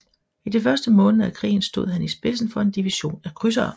I de første måneder af krigen stod han i spidsen for en division af krydsere